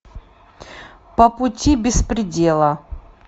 по пути беспредела